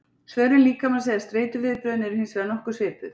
svörun líkamans eða streituviðbrögðin eru hins vegar nokkuð svipuð